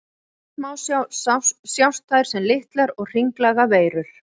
Í rafeindasmásjá sjást þær sem litlar og hringlaga veirur.